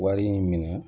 Wari in minɛ